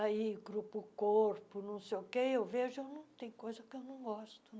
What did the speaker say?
aí grupo-corpo, não sei o quê, eu vejo, eu não tem coisa que eu não gosto.